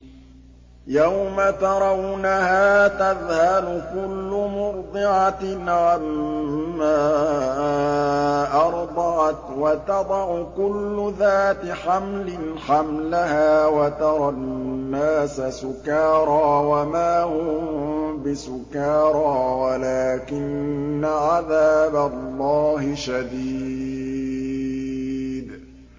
يَوْمَ تَرَوْنَهَا تَذْهَلُ كُلُّ مُرْضِعَةٍ عَمَّا أَرْضَعَتْ وَتَضَعُ كُلُّ ذَاتِ حَمْلٍ حَمْلَهَا وَتَرَى النَّاسَ سُكَارَىٰ وَمَا هُم بِسُكَارَىٰ وَلَٰكِنَّ عَذَابَ اللَّهِ شَدِيدٌ